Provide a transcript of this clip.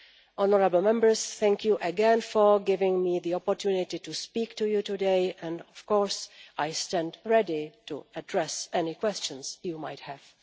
Honourable Members, thank you again for giving me the opportunity to speak to you today, and of course I stand ready to address any questions you might have.